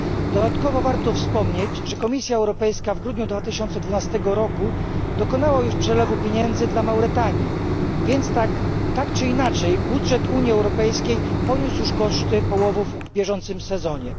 Dodatkowo warto wspomnieć, że Komisja Europejska w grudniu 2012 r. dokonała już przelewu pieniędzy na rzecz Mauretanii, więc tak czy inaczej budżet Unii Europejskiej poniósł już koszty połowów w bieżącym sezonie.